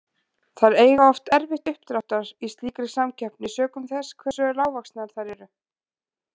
Þær eiga oft erfitt uppdráttar í slíkri samkeppni, sökum þess hversu lágvaxnar þær eru.